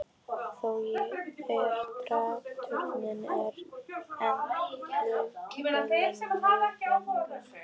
Þó er draugatrúin enn furðanlega mögnuð.